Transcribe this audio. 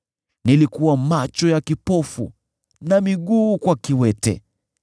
Nilikuwa macho ya kipofu na miguu kwa kiwete.